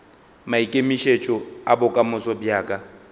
maikemišetšo a bokamoso bja ka